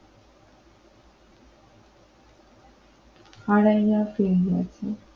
হারাইয়া